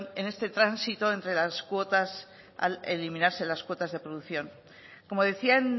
en este tránsito eliminarse las cuotas de producción como decía